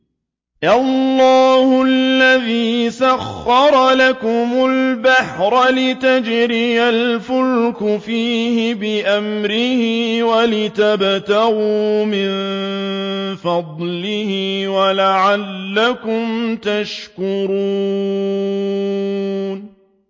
۞ اللَّهُ الَّذِي سَخَّرَ لَكُمُ الْبَحْرَ لِتَجْرِيَ الْفُلْكُ فِيهِ بِأَمْرِهِ وَلِتَبْتَغُوا مِن فَضْلِهِ وَلَعَلَّكُمْ تَشْكُرُونَ